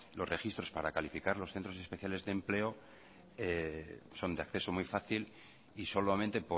los registros para calificar los centros especiales de empleo son de acceso muy fácil y solamente